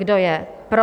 Kdo je pro?